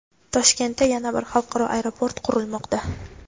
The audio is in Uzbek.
Toshkentda yana bir xalqaro aeroport qurilmoqda.